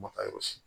Ma ka yɔrɔ si